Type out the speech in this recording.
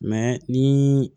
ni